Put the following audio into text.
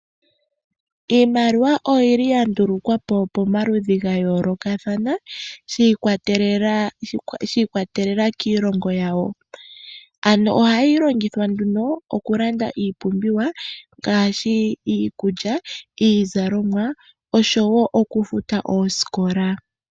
Iimaliwa oya ndulukwa po pamaludhi ga yoolokathana shi ikwatelela kiilongo yawo. Ohayi longithwa nduno okulanda iipumbiwa ngaashi iikulya, iizalomwa oshowo okufuta oosikola.